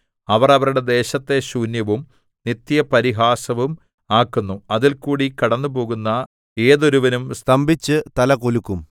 അവർ അവരുടെ ദേശത്തെ ശൂന്യവും നിത്യപരിഹാസവും ആക്കുന്നു അതിൽകൂടി കടന്നുപോകുന്ന ഏതൊരുവനും സ്തംഭിച്ചു തലകുലുക്കും